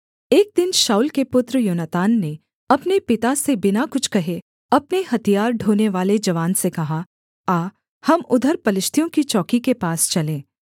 एक दिन शाऊल के पुत्र योनातान ने अपने पिता से बिना कुछ कहे अपने हथियार ढोनेवाले जवान से कहा आ हम उधर पलिश्तियों की चौकी के पास चलें